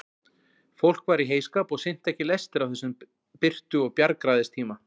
Fólk var í heyskap og sinnti ekki lestri á þessum birtu og bjargræðistíma.